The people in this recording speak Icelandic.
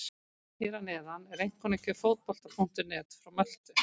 Hér að neðan er einkunnagjöf Fótbolta.net frá Möltu.